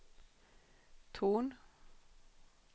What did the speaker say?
ton